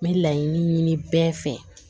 N bɛ laɲini ɲini bɛɛ fɛ